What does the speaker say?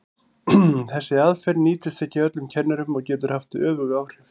Þessi aðferð nýtist ekki öllum kennurum og getur haft öfug áhrif.